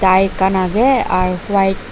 tie ekan aagay ar white.